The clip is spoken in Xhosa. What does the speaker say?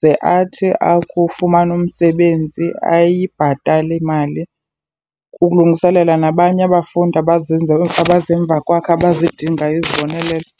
ze athi akufumana umsebenzi ayibhatale imali, kulungiselela nabanye abafundi abeza emva kwakhe abazidingayo izibonelelo.